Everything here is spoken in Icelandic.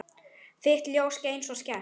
Þitt ljós skein svo skært.